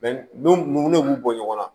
n'u b'u bɔ ɲɔgɔn na